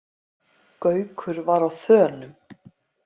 Gaukur var á þönum.